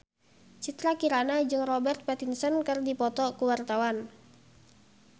Citra Kirana jeung Robert Pattinson keur dipoto ku wartawan